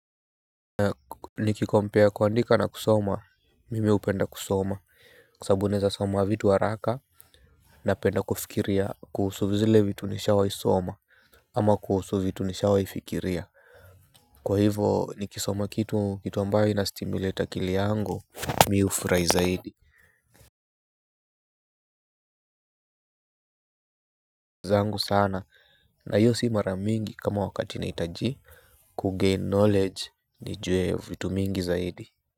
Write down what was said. Nikicompare kuandika na kusoma mimi hupenda kusoma kwa sababu naeza soma vitu haraka. Napenda kufikiria kuhusu zile vitu nishawaisoma ama kuhusu vitu nishawaifikiria. Kwa hivo nikisoma kitu kitu ambayo inastimulate akili yangu mi ufurai zaidi. Zangu sana na hiyo si mara mingi kama wakati naitaji kugain knowledge nijue vitu mingi zaidi.